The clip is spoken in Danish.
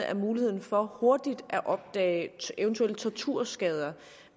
at muligheden for hurtigt at opdage eventuelle torturskader